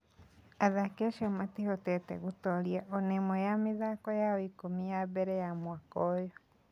Athaki acio ethĩ matihotete gũtooria o na ĩmwe ya mĩthako yao ikũmi ya mbere ya mwaka ũyũ.